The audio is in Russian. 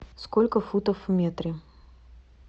сколько футов в метре